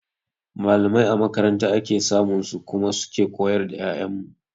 Mallamai a makaranta ake samun su kuma su ke koyar da 'ya'yan mu.